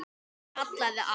Hún kallaði á